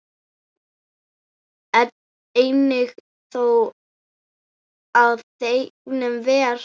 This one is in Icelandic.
Einnig þjó á þegnum ver.